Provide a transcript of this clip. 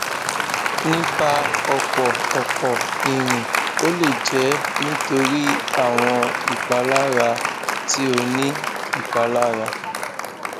nipa ọpọ ọpọ irin o le jẹ nitori awọn ipalara ti o ni um ipalara